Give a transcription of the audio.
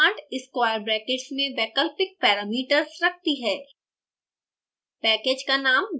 usepackage command square brackets में वैकल्पिक parameters रखती है